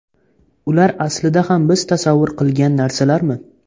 Ular aslida ham biz tasavvur qilgan narsalarmi?